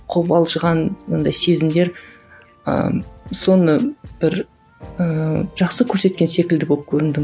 қобалжыған андай сезімдер ыыы соны бір ііі жақсы көрсеткен секілді болып көріндің